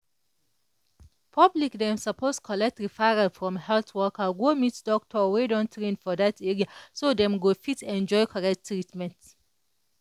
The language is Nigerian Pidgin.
public dem suppose collect referral from health worker go meet doctor wey don train for that area so dem go fit enjoy correct treatment.